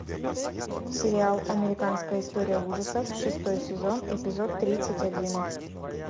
сериал американская история ужасов шестой сезон эпизод тридцать один